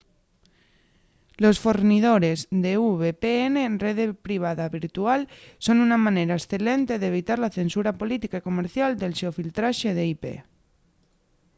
los fornidores de vpn rede privada virtual son una manera escelente d’evitar la censura política y comercial del xeofiltraxe d’ip